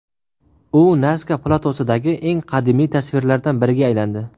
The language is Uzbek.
U Naska platosidagi eng qadimiy tasvirlardan biriga aylandi.